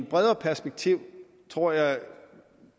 bredere perspektiv tror jeg